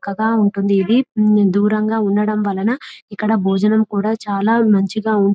దూరంగా ఉంటుంది దూరంగా ఉండటం వలన ఇక్కడ భోజనం కూడా చాలా మంచిగా ఉంటుంది దానివల్ల--